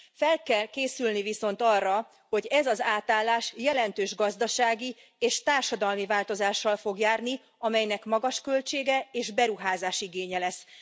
Fel kell készülni viszont arra, hogy ez az átállás jelentős gazdasági és társadalmi változással fog járni, amelynek magas költsége és beruházásigénye lesz.